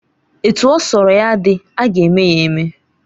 Etu ọ sọrọ ya dị, aga eme ya eme